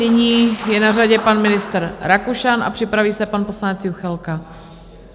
Nyní je na řadě pan ministr Rakušan a připraví se pan poslanec Juchelka.